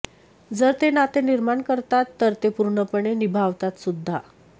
जर ते नाते निर्माण करतात तर ते पूर्णपणे निभावतात सुद्धा